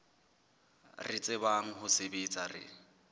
re tsebang ho sebetsa re